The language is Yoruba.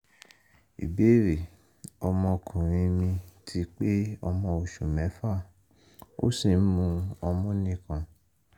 ìbéèrè: ọmọkùnrin mi ti pé ọmọ oṣù mẹ́fà ó sì ń mu ọmú nìkan